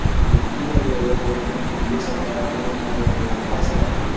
ਨੀਤੀ ਆਯੋਗ ਵੱਲੋਂ ਦਿੱਲੀ ਸਰਕਾਰ ਨੂੰ ਮਦਦ ਦਾ ਫ਼ੈਸਲਾ